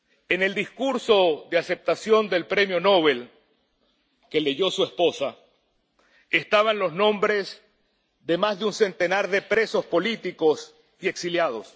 En el discurso de aceptación del Premio Nobel, que leyó su esposa, estaban los nombres de más de un centenar de presos políticos y exiliados.